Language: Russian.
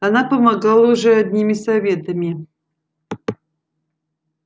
она помогала уже одними советами